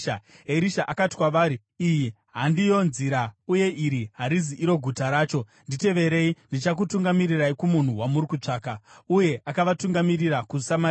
Erisha akati kwavari, “Iyi handiyo nzira uye iri harizi iro guta racho. Nditeverei, ndichakutungamirirai kumunhu wamuri kutsvaka.” Uye akavatungamirira kuSamaria.